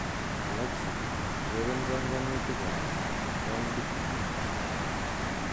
Alexa ureren banganutikab countit nenyu